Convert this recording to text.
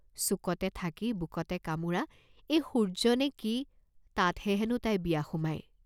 চুকতে থাকি বুকতে কামোৰা এইটো সূৰ্য্য নে কি তাতহে হেনো তাই বিয়া সোমায়।